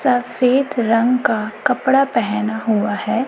सफेद रंग का कपड़ा पहेना हुआ है।